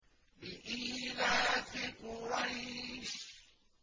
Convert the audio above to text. لِإِيلَافِ قُرَيْشٍ